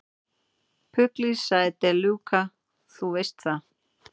Pugliese, sagði De Luca, þú veist það.